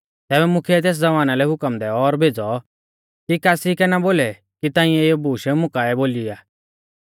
तैबै मुख्यै तेस ज़वाना लै हुकम दैऔ और भेज़ौ कि कासी कै ना बोलै कि ताऐं इऐ बूश मुं काऐ बोली आ